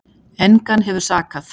Engan hefur sakað